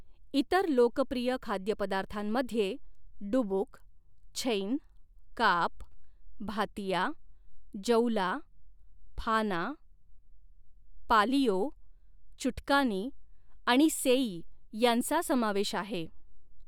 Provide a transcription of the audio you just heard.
इतर लोकप्रिय खाद्यपदार्थांमध्ये डुबुक, छैन, काप, भातिया, जौला, फाना, पालियो, चुटकानी आणि सेई यांचा समावेश आहे.